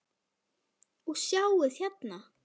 Og sjáið hérna!